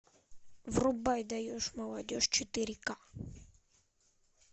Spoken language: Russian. врубай даешь молодежь четыре к